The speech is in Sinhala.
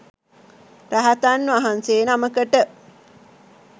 රහතන් වහන්සේ නමකට